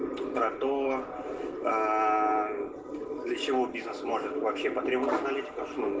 продо для чего бизнес может вообще патриот аналитиков что